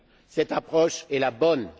Cette approche est la bonne.